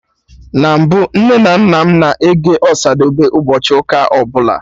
Na mbụ, Nne na nna m na-ege Ọsadebe ụbọchị ụka ọbụla